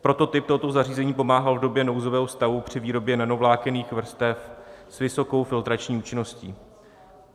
Prototyp tohoto zařízení pomáhal v době nouzového stavu při výrobě nanovlákenných vrstev s vysokou filtrační účinností.